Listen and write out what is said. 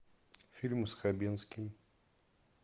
фильмы с хабенским